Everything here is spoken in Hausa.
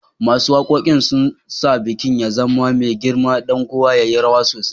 Masun wakokin sun sa bikin ya zama mai girma, dan kowa ya yi rawa sosai